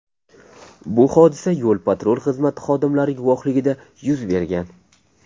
Bu hodisa yo‘l-patrul xizmati xodimlari guvohligida yuz bergan.